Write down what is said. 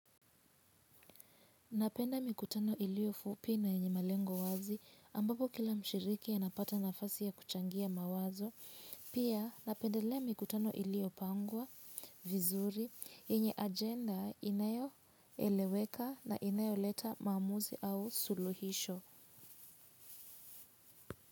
Napenda mikutano iliyo fupi na yenye malengo wazi ambapo kila mshiriki anapata nafasi ya kuchangia mawazo, pia napendelea mikutano iliyopangwa vizuri, yenye ajenda inayoeleweka na inayoleta maamuzi au suluhisho.